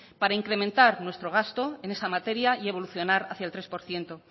para incrementar nuestro gasto en esa materia y evolucionar hacia el tres por ciento